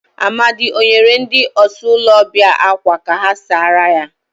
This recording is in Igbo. Amadi o nyere ndi ọsa ulo obia akwa ya ka ha sara ya?